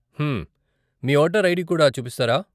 హమ్మ్ . మీ voter ID కూడా చూపిస్తారా?